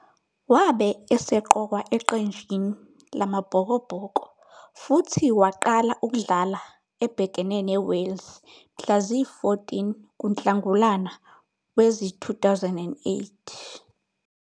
Wabe eseqokwa eqenjini lamaBhokobhoko futhi waqala ukudlala ebhekene neWales mhla ziyi-14 kuNhlangulana wezi-2008.